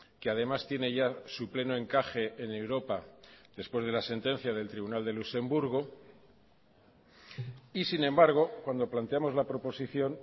que además tiene ya su pleno encaje en europa después de la sentencia del tribunal de luxemburgo y sin embargo cuando planteamos la proposición